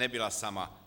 Nebyla sama.